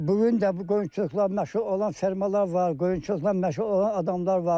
Bu gün də qoyunçuluqla məşğul olan fermalar var, qoyunçuluqla məşğul olan adamlar var.